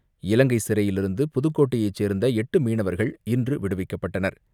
இலங்கை சிறையிலிருந்து புதுக்கோட்டையை சேர்ந்த எட்டு மீனவர்கள் இன்று விடுவிக்கப்பட்டனர்.